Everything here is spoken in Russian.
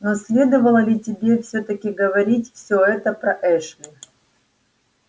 но следовало ли тебе всё-таки говорить все это про эшли